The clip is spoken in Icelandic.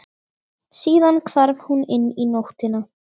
Síðan hvarf hún inn í nóttina.